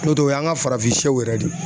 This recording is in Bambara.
N'o tɛ o y'an ka farafinsɛw yɛrɛ de ye.